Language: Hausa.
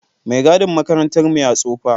Mai gadin makarantar mu ya tsofa